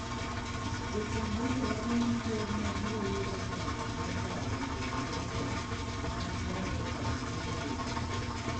Jofwamb weche wachoni Ker no biro yudo chandruok mokalo luwo lesen mag fwambo kod keyo weche.